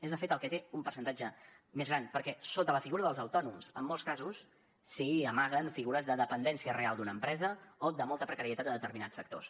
és de fet el que té un percentatge més gran perquè sota la figura dels autònoms en molts casos s’hi amaguen figures de dependència real d’una empresa o de molta precarietat de determinats sectors